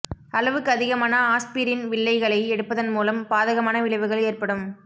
அளவுக்கு அதிகமான ஆஸ்பிரின் வில்லைகளை எடுப்பதன் மூலம் பாதகமான விளைவுகள் ஏற்படும்